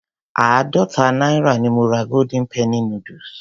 Àádọta náírà ni mo ra golden penny noodles.